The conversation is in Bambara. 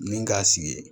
Min k'a sigi